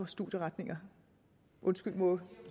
studieretninger undskyld må